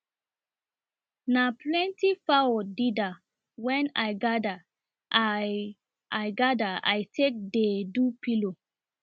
na plenty fawo deda wen i gather i i gather i take dey do pillow